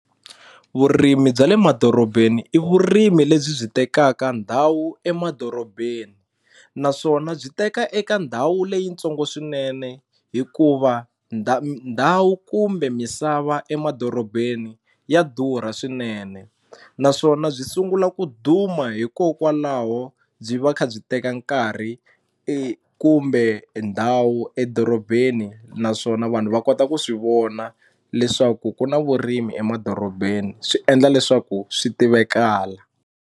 Vurimi bya le madorobeni i vurimi lebyi byi tekaka ndhawu emadorobeni naswona byi teka eka ndhawu leyitsongo swinene hikuva ndhawu kumbe misava emadorobeni ya durha swinene naswona byi sungula ku dhuma hikokwalaho byi va kha byi teka nkarhi kumbe ndhawu edorobeni naswona vanhu va kota ku swi vona leswaku ku na vurimi emadorobeni swi endla leswaku swi tivekala.